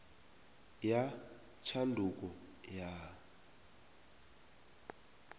ya tshanduko ya